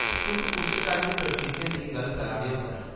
तुस कुस चाल्ली दे प्रशिक्षण दी गल्ल करा दे ओ, सर ?